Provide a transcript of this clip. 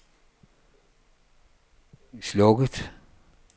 slukket